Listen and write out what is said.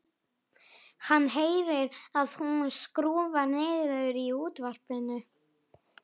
Hann heyrir að hún skrúfar niður í útvarpinu.